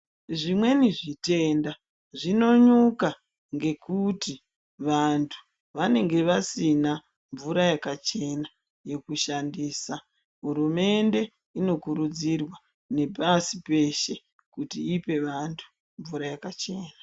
Zvimweni zvitenda zvinonyuka ngekuti vantu vanenge vasina mvura yakachena yekushandisa. Hurumende inokurudzirwa nepasi peshe kuti ipe vantu mvura yakachena.